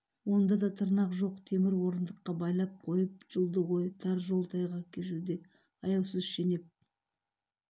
онда да тырнақ жоқ темір орындыққа байлап қойып жұлды ғой тар жол тайғақ кешуде аяусыз шенеп